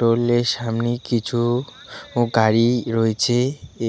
টোলের সামনে কিছু ও গাড়ি রয়েছে